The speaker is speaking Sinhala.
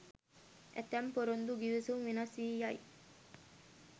ඇතැම් පොරොන්දු ගිවිසුම් වෙනස් වී යයි.